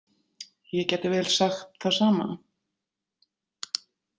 Ég gæti vel sagt það sama.